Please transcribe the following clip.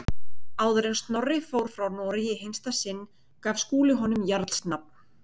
Áður en Snorri fór frá Noregi í hinsta sinn, gaf Skúli honum jarls nafn.